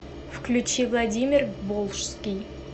включи владимир волжский